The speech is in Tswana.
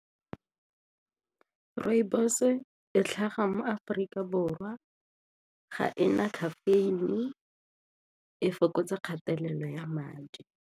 Rooibos-e e tlhaga mo Aforika Borwa, ga e na caffeine-e, e fokotsa kgatelelo ya madi.